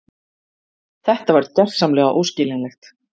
Þetta var gersamlega óskiljanlegt.